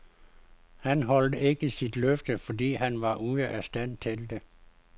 Han holdt ikke sine løfter, fordi han var ude af stand til det.